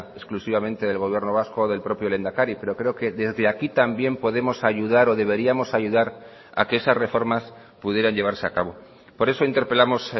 exclusivamente del gobierno vasco o del propio lehendakari pero creo que desde aquí también podemos ayudar o deberíamos ayudar a que esas reformas pudieran llevarse a cabo por eso interpelamos